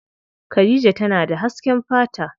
Khadija tana da hasken fata.